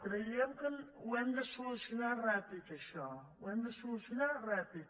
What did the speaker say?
creiem que ho hem de solucionar ràpid això ho hem de solucionar ràpid